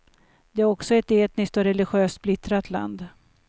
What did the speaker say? Det är också ett etniskt och religiöst splittrat land.